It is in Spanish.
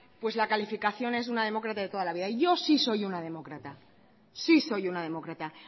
pues la calificación es una demócrata de toda la vida yo sí soy una demócrata sí soy una demócrata